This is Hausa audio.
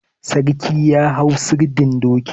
Sarki ya hau sirdin doki.